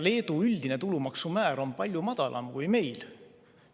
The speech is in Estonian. Leedu üldine tulumaksumäär on palju madalam kui meil.